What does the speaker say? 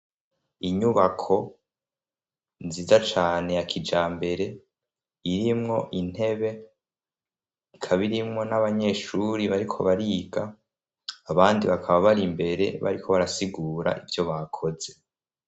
Inyubako nziza cane yakija mbere irimwo intebe kabairimwo n'abanyeshuri bariko bariga abandi bakaba bari mbere bariko barasigura ivyo bakoze.